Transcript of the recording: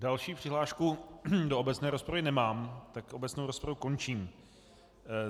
Další přihlášku do obecné rozpravy nemám, takže obecnou rozpravu končím.